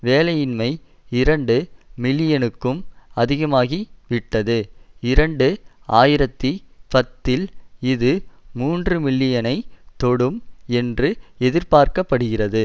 வேலையின்மை இரண்டு மில்லியனுக்கும் அதிகமாகிவிட்டது இரண்டு ஆயிரத்தி பத்தில் இது மூன்றுமில்லியனைத் தொடும் என்று எதிர்பார்க்க படுகிறது